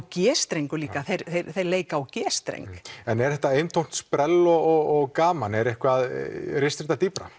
g streng líka já þeir leika á g streng en er þetta eintómt sprell og gaman eða ristir þetta dýpra